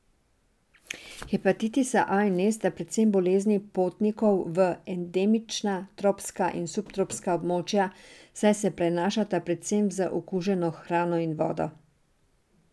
Hepatitisa A in E sta predvsem bolezni potnikov v endemična tropska in subtropska območja, saj se prenašata predvsem z okuženo hrano in vodo.